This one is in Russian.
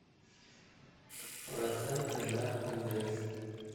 проценты на ндс